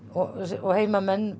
og heimamenn